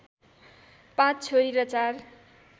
पाँच छोरी र चार